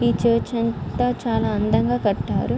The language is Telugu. ఈ చర్చి అంత చాలా అందంగా కట్టారు.